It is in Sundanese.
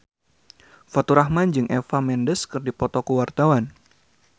Faturrahman jeung Eva Mendes keur dipoto ku wartawan